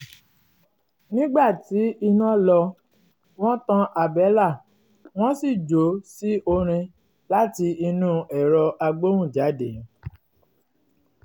nígbà tí iná lọ wọ́n tan àbẹ́là wọn sì jó sí orin láti inú ẹ̀rọ agbóhùnjáde